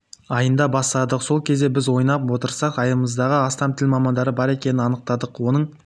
айында бастадық сол кезде біз санап отырсақ аймағымызда астам тіл мамандары бар екенін анықтадық оның